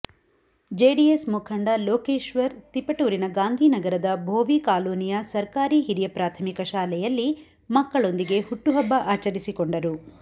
JDS ಮುಖಂಡ ಲೋಕೇಶ್ವರ್ ತಿಪಟೂರಿನ ಗಾಂಧಿನಗರದ ಭೋವಿ ಕಾಲೋನಿಯ ಸರ್ಕಾರಿ ಹಿರಿಯ ಪ್ರಾಥಮಿಕ ಶಾಲೆಯಲ್ಲಿ ಮಕ್ಕಳೊಂದಿಗೆ ಹುಟ್ಟುಹಬ್ಬ ಆಚರಿಸಿಕೊಂಡರು